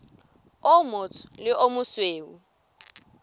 o motsho le o mosweu